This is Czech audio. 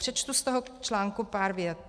Přečtu z toho článku pár vět: